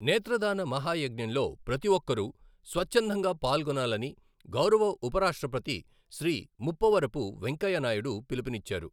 నేత్రదాన మహాయజ్ఞంలో ప్రతి ఒక్కరూ స్వచ్ఛందంగా పాల్గొనాలని గౌరవ ఉపరాష్ట్రపతి శ్రీ ముప్పవరపు వెంకయ్యనాయుడు పిలుపునిచ్చారు.